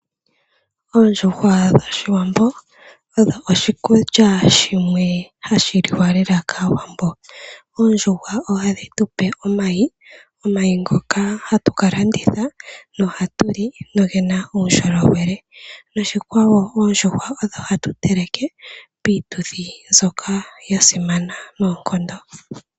Oondjuhwa dhOshiwambo odho oshikulya shimwe hashi liwa lela kaawambo. Oondjuhwa ohadhi tu pe omayi, omayi ngoka hatu ka landitha noha tu li nogena uundjolowele noshikwawo oondjuhwa odho hatu teleke piituthi mbyoka ya simana noonkondo.